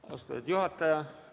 Austatud juhataja!